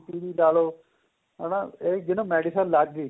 BP ਵੀ ਲਾਲੋਂ ਹਨਾ ਇਹ ਜਿਹਨੂੰ medicine ਲੱਗ ਗਈ